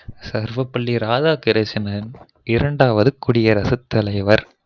சர்வபள்ளி ராதாகிருஷ்ணண் இரண்டாவது குடியரசு தலைவர்